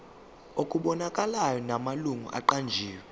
okubonakalayo namalungu aqanjiwe